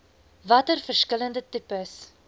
watter verskillende tipes